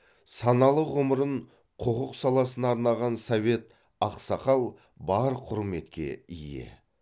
саналы ғұмырын құқық саласына арнаған совет ақсақал бар құрметке ие